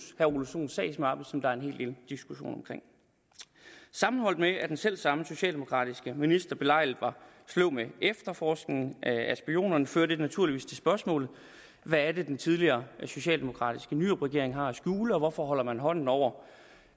sagsmappe som der er en hel del diskussion omkring sammenholdt med at den selv samme socialdemokratiske minister belejligt var sløv med efterforskningen af spionerne fører det naturligvis til spørgsmålet hvad er det den tidligere socialdemokratiske nyrupregering har at skjule og hvorfor holder man hånden over